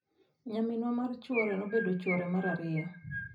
Nyaminwa mar chwore nobedo chwore mar ariyo.